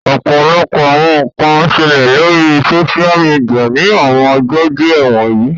Ọpọlọpọ awọn nkan n ṣẹlẹ lori soṣia midia ni awọn ọjọ diẹ wọnyi